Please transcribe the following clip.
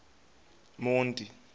monti